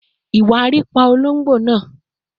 Iwariiri pa ologbo naa